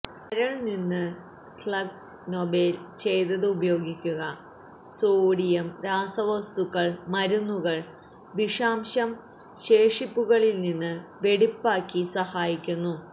കരൾ നിന്ന് സ്ലഗ്സ് നോബേല് ചെയ്തത് ഉപയോഗിക്കുക സോഡിയം ഥിഒസുല്ഫതെ രാസവസ്തുക്കൾ മരുന്നുകൾ വിഷാംശം ശേഷിപ്പുകൾ നിന്ന് വെടിപ്പാക്കി സഹായിക്കുന്നു